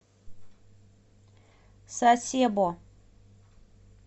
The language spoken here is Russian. сасебо